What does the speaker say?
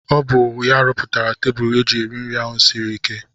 Ọ bụ ya rụpụtara tebụl eji eri nri ahụ siri ike.